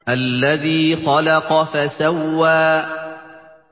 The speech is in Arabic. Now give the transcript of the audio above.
الَّذِي خَلَقَ فَسَوَّىٰ